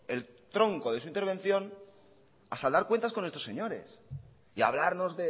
el tronco de su intervención a saldar cuentas con estos señores y hablarnos